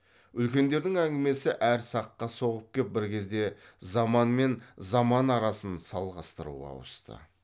үлкендердің әңгімесі әр саққа соғып кеп бір кезде заман мен заман арасын салғастыруға ауысты